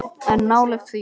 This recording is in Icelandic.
En nálægt því.